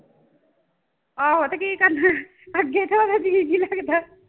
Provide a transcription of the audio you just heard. ਆਹੋ ਤੇ ਕੀ ਕਰਨਾ ਅੱਗੇ ਤਾਂ ਉਹਦਾ ਜੀਅ ਨੀ ਲੱਗਦਾ।